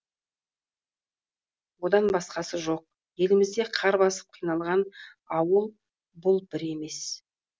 одан басқасы жоқ елімізде қар басып қиналған ауыл бұл бір емес